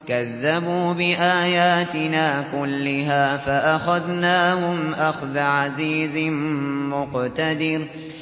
كَذَّبُوا بِآيَاتِنَا كُلِّهَا فَأَخَذْنَاهُمْ أَخْذَ عَزِيزٍ مُّقْتَدِرٍ